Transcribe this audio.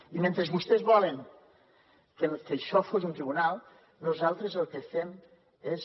i mentre vostès volen que això sigui un tribunal nosaltres el que fem és